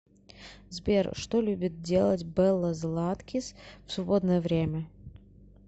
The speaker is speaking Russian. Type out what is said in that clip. сбер что любит делать белла златкис в свободное время